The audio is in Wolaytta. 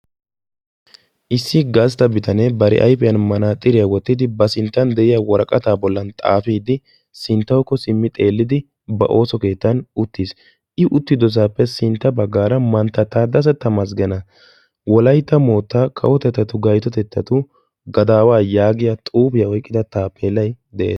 Issi gastta ayfiyan manaxxiriya wottiddi ba sinttan xaafiddi de'ees. A sinttan a oonatetta qonccissiya xuufe de'ees.